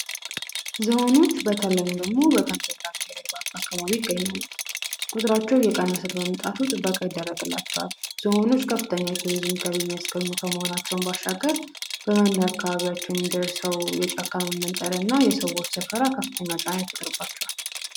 ዝሆኖች በተለይ በጋምቤላ ክልል አካባቢዎች ይገኛሉ ቁጥራቸው እየቀነሰ በመምጣቱ ጥበቃ ይደረግላቸዋል ዞኖች ከፍተኛ የቱሪዝም ገቢ የሚያስገኙ ከመሆናቸውም ባሻገር ጫካ በመመንጠር እና በአካባቢያቸው ሰዎች መስፈር ከፍተኛ ጫና ይደርስባቸዋል።